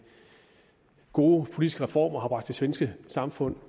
gode politiske reformer har bragt det svenske samfund